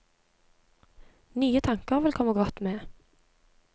Nye tanker ville komme godt med.